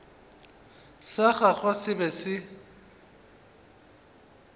sa gagwe se be se